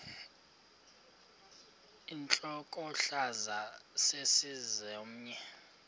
intlokohlaza sesisaz omny